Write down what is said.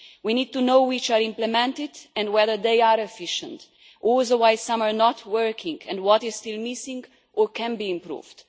We need to know which are implemented and whether they are efficient, also why some are not working and what is still missing or can be improved.